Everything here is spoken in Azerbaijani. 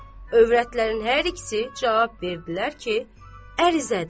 Övrətlərin hər ikisi cavab verdilər ki, ərizədir.